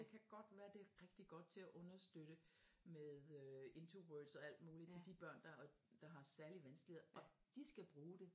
Det kan godt være det er rigtigt godt til at understøtte med øh IntoWords og alt muligt til de børn der har særlige vanskeligheder og de skal bruge det